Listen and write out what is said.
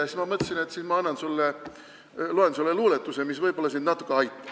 Ja ma mõtlesin, et ma loen sulle luuletuse, mis võib-olla sind natukene aitab.